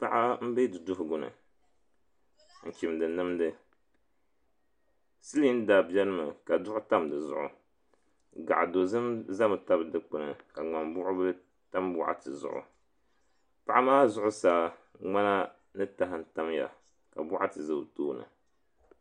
Paɣa m be duduhiguni n chimdi nimdi silinda benimi ka duɣu tam di zuɣu gaɣa dozim zami tabi dukpini ka ŋmambuɣubili tam boɣati zuɣu paɣa maa zuɣusaa ŋmana ni taha n tamya ka boɣati za o tooni.